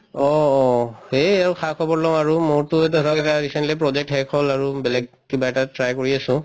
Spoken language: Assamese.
অ, অ খা-খবৰ লওঁ আৰু মোৰতো ধৰক এটা recently project শেষ হল আৰু বেলেগ কিবা এটা try কৰি আছো